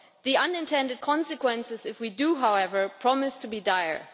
The unintended consequences if we do, however, promise to be dire.